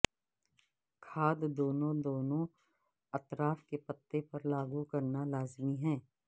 کھاد دونوں دونوں اطراف کے پتے پر لاگو کرنا لازمی ہے